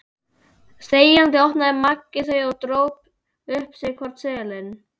Þegjandi opnaði Maggi þau og dró upp sinn hvorn seðilinn.